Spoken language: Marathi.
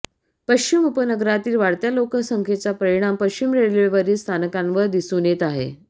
पश्चिम उपनगरातील वाढत्या लोकसंख्येचा परिणाम पश्चिम रेल्वेवरील स्थानकांवर दिसून येत आहे